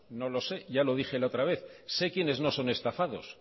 no lo sé ya lo dije la otra vez sé quiénes no son estafados